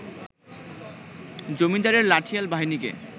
জমিদারের লাঠিয়াল বাহিনীকে